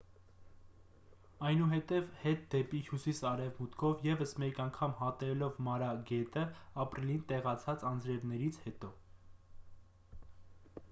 այնուհետև հետ դեպի հյուսիս արևմուտքով ևս մեկ անգամ հատելով մարա գետը ապրիլին տեղացած անձրևներից հետո